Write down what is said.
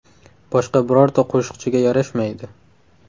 Boshqa birorta qo‘shiqchiga yarashmaydi.